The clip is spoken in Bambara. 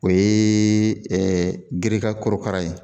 O yeee ɛ gereka korokara ye